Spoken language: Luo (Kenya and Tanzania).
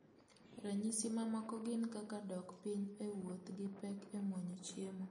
Ranyisi mamoko gin kaka dok piny e wuoth gi pek e muonyo chiemo